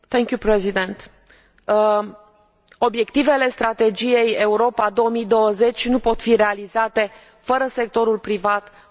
Obiectivele Strategiei Europa 2020 nu pot fi realizate fără sectorul privat, fără companii, fără întreprinderi.